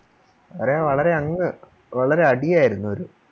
അതെ വളരെ അങ് വളരെ അടിയായിരുന്നു അത്